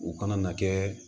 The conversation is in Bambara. U kana na kɛ